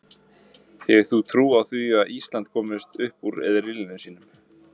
Hefur þú trú á því að Ísland komist upp úr riðli sínum?